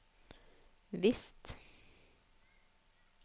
visst